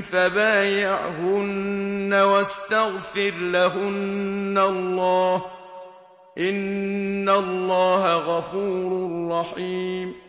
فَبَايِعْهُنَّ وَاسْتَغْفِرْ لَهُنَّ اللَّهَ ۖ إِنَّ اللَّهَ غَفُورٌ رَّحِيمٌ